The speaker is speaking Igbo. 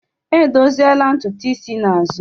E dọziela ntutu isi n'azụ.